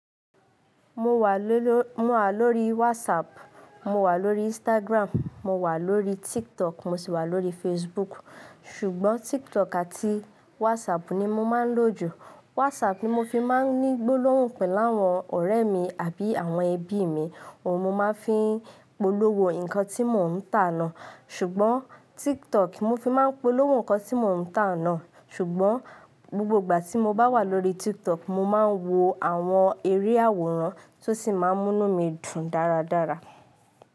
Mo wà lólo, mo wà lórí WhatsApp, mo wà lórí Instagram, mo wà lórí TikTok mo sì wà lórí Facebook. Ṣùgbọ́n TikTok àti WhatsApp ni mo máa ń lò jù. WhatsApp ni mo fi máa ń ní gbólóhùn pẹ̀lú àwọn ọ̀rẹ́ mi àbí àwọn ẹbí mi. Ohun mo máa ń fi ń polówó nǹkan tí mò ń tàná. Ṣùgbọ́n TikTok mo fi máa ń polówó nǹkan tí mò ń tàná. Ṣùgbọ́n, gbogbo ìgbà tí mo bá wà lórí TikTok, mo máa ń wo àwọn eré àwòrán tó sì máa ń mú mí dùn dáradára.